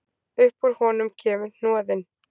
Upp úr honum kemur hnoðinn.